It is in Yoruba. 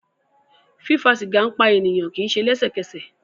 Fífa sìgá ń pa ènìyàn, kì í se lẹ́sẹ̀kẹsẹ̀